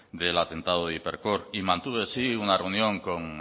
del atentado de hipercor y mantuve sí una reunión con